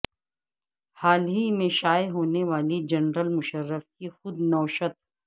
حال ہی میں شائع ہونے والی جنرل مشرف کی خود نوشت